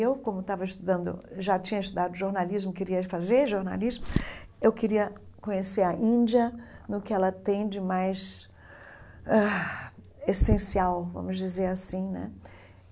Eu, como estava estudando já tinha estudado jornalismo, queria fazer jornalismo, eu queria conhecer a Índia, no que ela tem de mais... ãh essencial, vamos dizer assim, né?